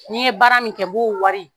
N'i n ye baara min kɛ n b'o wari